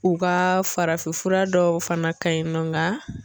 U ka farafinfura dɔw fana ka ɲinɔ nka.